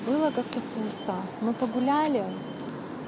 было как-то просто мы погуляли